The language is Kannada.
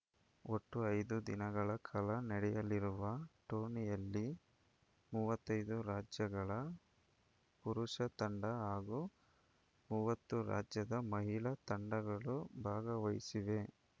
ಒಟ್ಟು ಐದು ದಿನಗಳ ಕಾಲ ನಡೆಯಲಿರುವ ಟೂರ್ನಿಯಲ್ಲಿ ಮೂವತ್ತೈದು ರಾಜ್ಯಗಳ ಪುರುಷ ತಂಡ ಹಾಗೂ ಮೂವತ್ತು ರಾಜ್ಯದ ಮಹಿಳಾ ತಂಡಗಳು ಭಾಗವಹಿಸಿವೆ